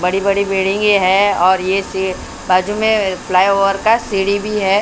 बड़ी-बड़ी बिल्डिंगें है और ये बाजू में फ्लाईओवर का सीडी भी है।